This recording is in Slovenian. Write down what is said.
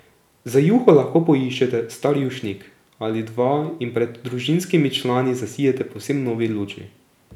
Za juho lahko poiščete star jušnik ali dva in pred družinskimi člani zasijete v povsem novi luči.